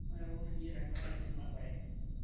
mairoro siiyie tengaraki ena bae